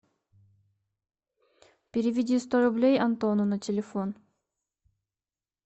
переведи сто рублей антону на телефон